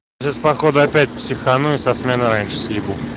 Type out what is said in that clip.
пиздец походу опять психану и со сменой раньше съебу